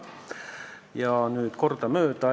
Ja nüüd neist järgemööda.